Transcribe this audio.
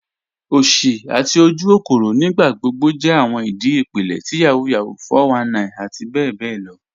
Osì àti ojúkòkòrò nígbàgbọ̀gbọ̀ jẹ́ awọn ìdí ipílẹ̀ ti Yahoo Yahoo, 419 àti bẹ̀bẹ̀ lọ.